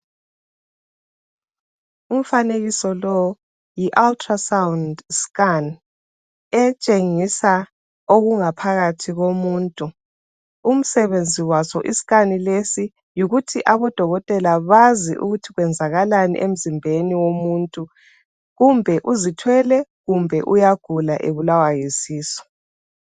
Umfanekiso lowu yiUltra Sound Scan etshengisa okungaphakathi komuntu. Umsebenzi waso iscan lesi yikuthi odokotela bazi ukuthi kwenzakalani emzimbeni womuntu kumbe uzithwele kumbe uyagula ubulawa yisisu.